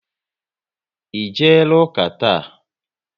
Ị jeela ụka taa?